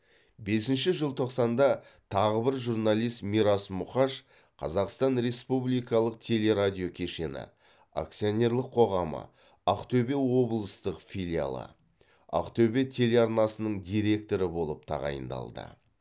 бесінші желтоқсанда тағы бір журналист мирас мұқаш қазақстан республикалық телерадиокешені акцианерлік қоғамы ақтөбе облыстық филиалы ақтөбе телеарнасының директоры болып тағайындалды